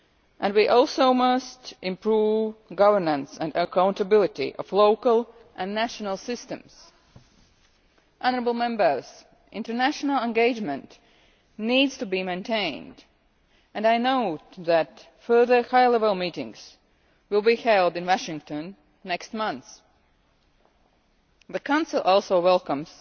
and we must also improve governance and accountability of local and national systems. International engagement needs to be maintained, and I note that further high-level meetings will be held in Washington next month. The Council also welcomes